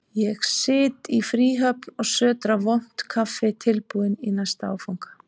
Ég sit í fríhöfn og sötra vont kaffi, tilbúinn í næsta áfanga.